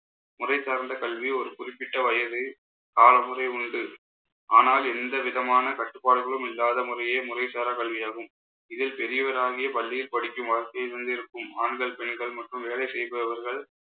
முறைசார்ந்த கல்வி ஒரு குறிப்பிட்ட வயசு காலமுறை உண்டு ஆனால் எந்த விதமான கட்டுப்பாடுகளும் இல்லாத முறையே, முறைசாரா கல்வியாகும். இதில் பெரியவராகி பள்ளியில் படிக்கும் வசதியை தந்திருக்கும் ஆண்கள் பெண்கள் மற்றும் வேலை செய்பவர்கள்